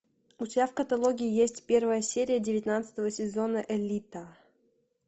у тебя в каталоге есть первая серия девятнадцатого сезона элита